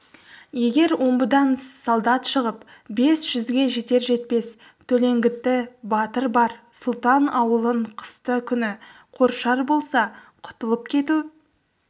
егер омбыдан солдат шығып бес жүзге жетер-жетпес төлеңгіті батыры бар сұлтан ауылын қысты күні қоршар болса құтылып кету